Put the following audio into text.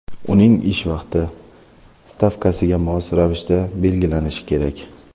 uning ish vaqti stavkasiga mos ravishda belgilanishi kerak.